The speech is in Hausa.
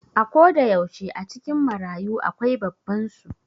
A koda yaushe a cikin marayu akwai babban su